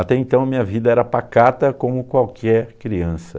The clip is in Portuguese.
Até então, minha vida era pacata como qualquer criança.